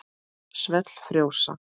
Svell frjósa.